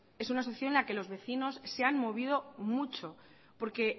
es una asociación en la que los vecinos se han movido mucho porque